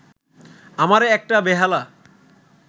আমারে একটা বেহালা